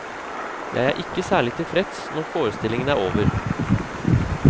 Jeg er ikke særlig tilfreds når forestillingen er over.